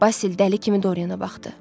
Basil dəli kimi Doriana baxdı.